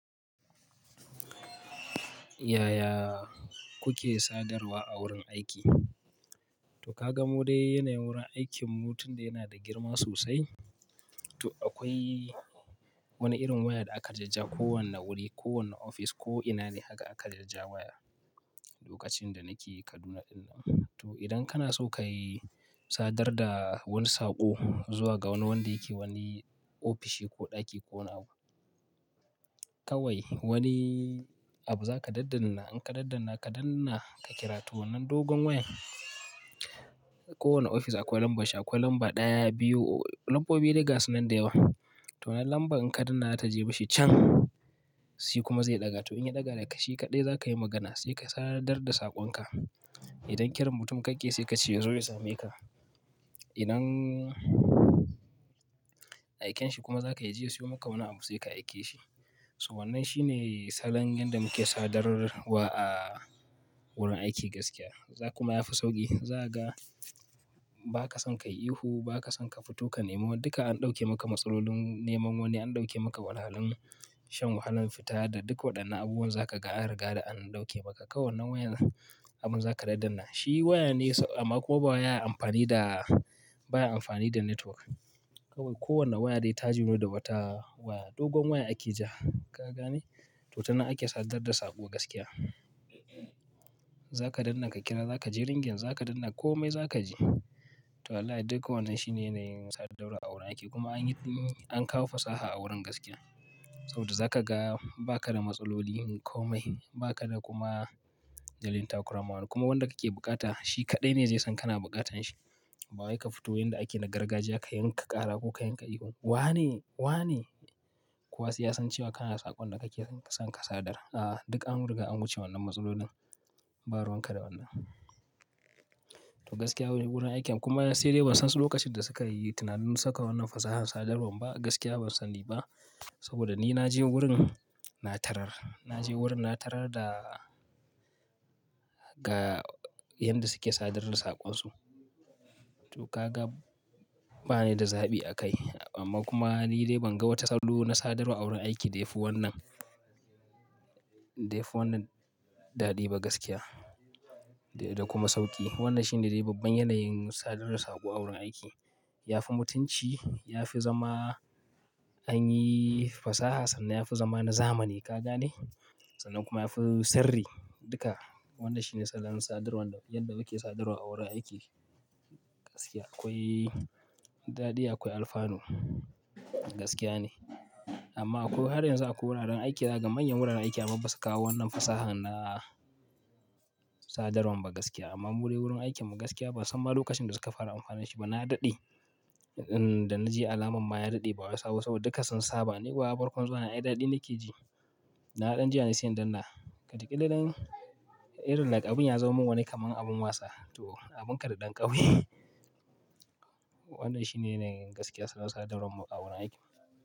Yaya kuke sadarwa a wurin aiki? To ka ga mu dai yanayin wurin aikinmu tun da yana da girma sosai. To akwai wani irin waya da aka jajjaga kowane wuri, kowane office ko ina ne haka aka jajjaga waya lokacin da nake Kaduna ɗin nan. To idan kana so ka yi sadar da wani saƙo zuwa ga wani wanda yake wani ofishi ko ɗaki ko wani abu, kawai wani abu za ka daddanna. In ka daddanna, ka danna ka kira ta wannan dogon wayan. Kowane ofis akwai lambar shi, akwai lamba ɗaya, biyu lambobi de gasu nan da yawa. To wannan lambar in ka danna za ta je mashi can, shi kuma zai ɗaga. To in ya ɗaga da shi kaɗai za ka yi magana sai ka sadar da saƙonka. Idan kiran mutum kake sai ka ce yazo ya same ka. Idan aiken shi kuma za ka je ka siyo maka wani abu sai ka aike shi. To wannan shine salon yadda muke sadarwa a wurin aiki gaskiya. Za kaga kuma yafi sauƙi. Za ka ga ba ka son kai ihu, ba ka son ka fito ka nemi wani. Duka an ɗauke maka matsalolin neman wani, an ɗauke maka wahal halun shan wahalan fita da duk waɗannan abubuwan za ka riga an ɗauke maka. Kawai wannan wayan abun za ka daddanna. Shi waya ne amma kuma baya amfani da, baya amfani da network. Kawai kowane waya dai ta joni da ba ta dogon waya ake ja, ka gane? To tanan ake sadar da saƙo gaskiya. Za ka danna ka kira, za ka je ringing za ka danna komai za ka ji. To wallahi duka wannan shine yanayin sadarwa a wurin aiki kuma an yi, an kawo fasaha a wurin gaskiya. Saboda za ka ga ba ka da matsolin komai, ba ka da kuma ba zai takurama ba, kuma wanda kake bukata shi kaɗai ne zai san kana bukatan shi. Ba wai ka fito inda ake na gargajiya ka yanka ƙara ko ka yanka ihu. Wane? Wane? Ko wasu ya san cewa kana saƙon da kake son ka sadar. A'a, duk an riga an wuce wannan matsalolin. Ba ruwan ka da wannan. To gaskiya wurin aikin kuma sai dai ban san lokacin da suka yi tunanin saka wannan fasahar sadarwan ba, gaskiya ban sani ba. Saboda ni na je wurin na tarar. Na je wurin na tarar da ga yada suke sadar da saƙonsu. To ka ga ba ni da zaɓi a kai. Amma kuma ni dai ban ga wata salo na sadarwa a wurin aiki da yafi wannan, da yafi wannan daɗi ba gaskiya da kuma sauƙi. Wannan shine dai babban yanayin sadar da saƙo a wurin aiki. Yafi mutunci, yafi zama anyi fasaha sannan yafi zama na zamani, ka gane? Sannan kuma yafi sirri duka. Wannan shine salon sadarwan yadda muke sadarwa a wurin aiki gaskiya. Akwai daɗi akwai alfanu gaskiya ne. Amma ko har yanzu akwai wuraren aiki, za ka ga manyan wuraren aiki amma basu kawo wannan fasahar na sadarwan ba gaskiya. Amma mu dai wurin aikinmu gaskiya ban san ma lokacin da suka fara amfani da shi ba. Na daɗe, in da na ji alaman ma ya daɗe ba wai sabo ba saboda duka sun saba. Ni kuwa farkon zuwa na, ai daɗi nake ji. Da na dan ji yane sai na danna. Watakila dan irin like abun ya zaman min wani kamar abin wasa. To abun ka da ɗan ƙauye. Wannan shi ne na gaskiya salon sadarwan mu a wurin aiki.